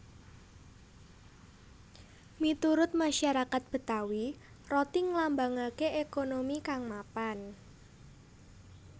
Miturut masarakat Betawi roti nglambangaké ékonomi kang mapan